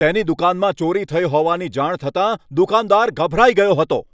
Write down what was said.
તેની દુકાનમાં ચોરી થઈ હોવાની જાણ થતાં દુકાનદાર ગભરાઈ ગયો હતો.